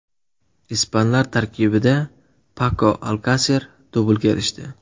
Ispanlar tarkibida Pako Alkaser dublga erishdi.